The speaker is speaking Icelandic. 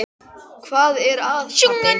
Hvað er það, pabbi?